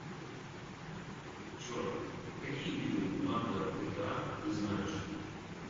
джой какие виды банда гта ты знаешь